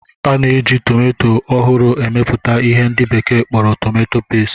A na-eji tomanto ohuru emeputa ihe ndi bekee kporo "tomanto paste"